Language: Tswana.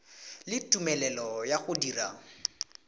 le tumelelo ya go dira